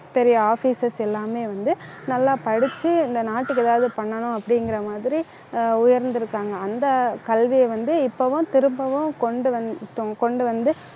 பெரிய officers எல்லாமே வந்து, நல்லா படிச்சு இந்த நாட்டுக்கு எதாவது பண்ணணும் அப்படிங்கிற மாதிரி ஆஹ் உயர்ந்திருக்காங்க அந்த கல்வியை வந்து, இப்பவும் திரும்பவும் கொண்டு வந்து கொண்டு வந்து